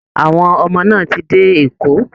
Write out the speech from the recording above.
Àwọn ọmọ náà ti dé Èkó